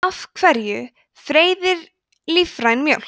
af hverju freyðir lífræn mjólk